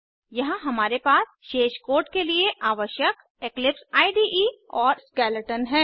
यहाँ हमारे पास शेष कोड के लिए आवश्यक इक्लिप्स इडे और स्केलेटन है